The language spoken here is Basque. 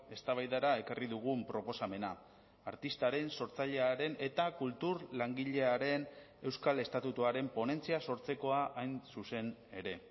eztabaidara ekarri dugun proposamena artistaren sortzailearen eta kultur langilearen euskal estatutuaren ponentzia sortzekoa hain zuzen ere